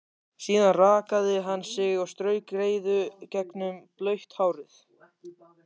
Síðan rakaði hann sig og strauk greiðu gegnum blautt hárið.